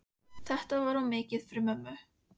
Þetta var of mikið fyrir mömmu.